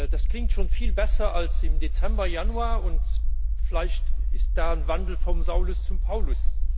Das klingt schon viel besser als im Dezember, Januar, und vielleicht ist da ein Wandel vom Saulus zum Paulus.